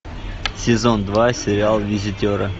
сезон два сериал визитеры